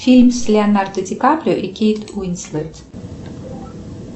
фильм с леонардо ди каприо и кейт уинслет